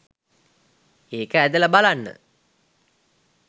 ඒක ඇදලා බලන්න